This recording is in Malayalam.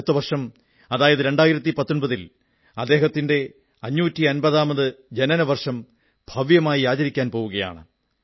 അടുത്ത വർഷം അതായത് 2019 ൽ അദ്ദേഹത്തിന്റെ 550 ആമത് ജനനവർഷം ഭവ്യമായി ആചരിക്കാൻ പോകയാണ്